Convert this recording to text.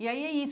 E aí é isso.